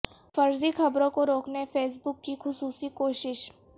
فرضی خبروں کو روکنے فیس بک کی خصوصی کوشش